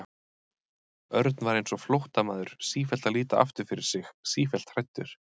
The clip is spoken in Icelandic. Örn var eins og flóttamaður, sífellt að líta aftur fyrir sig, sífellt hræddur.